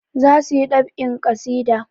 Za su yi ɗab'in ƙasida.